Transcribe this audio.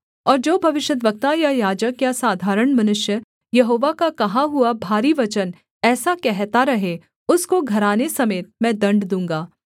और जो भविष्यद्वक्ता या याजक या साधारण मनुष्य यहोवा का कहा हुआ भारी वचन ऐसा कहता रहे उसको घराने समेत मैं दण्ड दूँगा